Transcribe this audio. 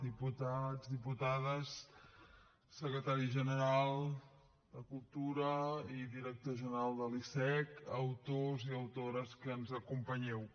diputats diputades secretari general de cultura i director general de l’icec autors i autores que ens acompanyeu